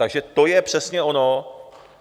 Takže to je přesně ono.